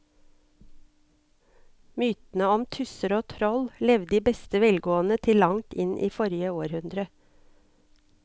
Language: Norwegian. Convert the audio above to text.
Mytene om tusser og troll levde i beste velgående til langt inn i forrige århundre.